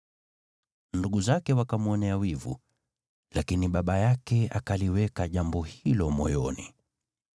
Ndugu zake wakamwonea wivu, lakini baba yake akaliweka jambo hilo moyoni.